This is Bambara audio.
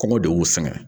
Kɔngɔ de y'u sɛgɛn